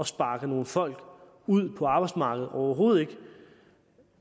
sparke nogle folk ud på arbejdsmarkedet overhovedet ikke